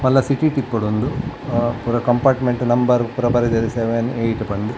ಮಲ್ಲ ಸಿಟಿ ಟು ಇಪ್ಪೊಡು ಉಂದು ಪೂರ ಕಂಪಾರ್ಟ್ಮೆಂಟ್ ನಂಬರ್ ಪೂರ ಬರೆದೆರ್ ಸೆವೆನ್ ಏಟ್ ಪಂದ್.